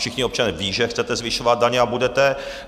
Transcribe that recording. Všichni občané vědí, že chcete zvyšovat daně a budete.